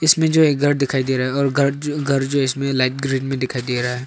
जो एक घर दिखाई दे रहा है और घर घर जो इसमें लाइट ग्रीन में दिखाई दे रहा है।